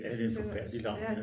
Ja det er en forfærdelig larm